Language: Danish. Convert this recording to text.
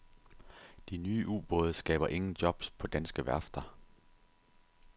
De nye ubåde skaber ingen jobs på danske værfter.